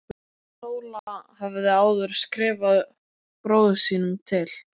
Sóla hafði áður skrifað bróður sínum til